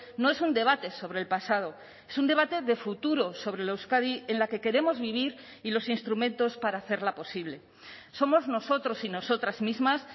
no es un debate sobre el pasado es un debate de futuro sobre la euskadi en la que queremos vivir y los instrumentos para hacerla posible somos nosotros y nosotras mismas